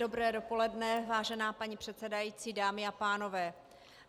Dobré dopoledne, vážená paní předsedající, dámy a pánové.